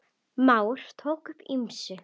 Már tók upp á ýmsu.